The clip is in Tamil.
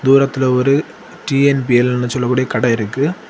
தூரத்துல ஒரு டி_என்_பி_எல்னு சொல்லக்கூடிய கடயிருக்கு.